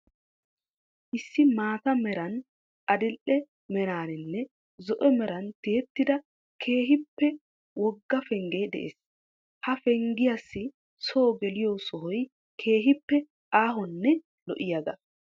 Issi maata meran, adil"e meraaninne zo'o meran tiyettida keehippe wogga penggee de'ees. Ha penggiyassi soo geliyo sohoy keehippe aahonne lo'iyagaa.